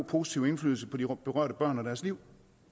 positiv indflydelse på de berørte børn og deres liv